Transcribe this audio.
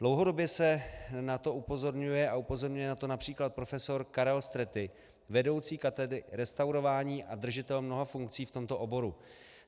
Dlouhodobě se na to upozorňuje a upozorňuje na to například profesor Karel Stretti, vedoucí katedry restaurování a držitel mnoha funkcí v tomto oboru.